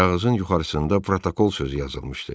Kağızın yuxarısında protokol sözü yazılmışdı.